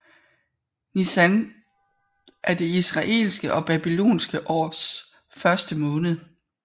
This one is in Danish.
Nisan er det israelitiske og babylonske års første måned